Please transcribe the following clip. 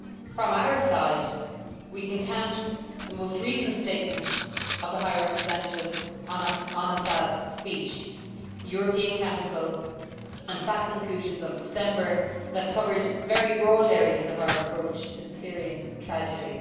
From our side, we can count the most recent statement of the High Representative on Assad's speech, the European Council and FAC conclusions of December that covered very broad areas of our approach to the Syrian tragedy.